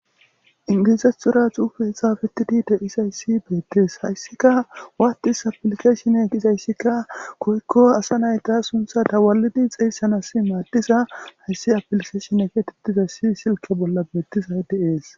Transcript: Ingilizathora xuufey xaafetid dizays betes, izika WhatsApp application gizayska woyko asa nayta suntha xeysanas madiza hays applicatione getetizaysi silke bolla betizays de'es.